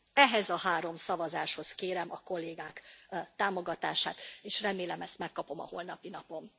Ehhez a három szavazáshoz kérem a kollégák támogatását, és remélem, ezt megkapom a holnapi napon.